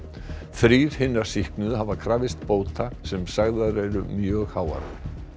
þrír hinna sýknuðu hafa krafist bóta sem sagðar eru mjög háar